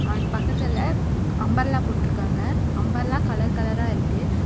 அதுக்கு பக்கத்துல அம்பர்லா போட்டிருக்காங்க அம்பர்லா கலர் கலரா இருக்கு.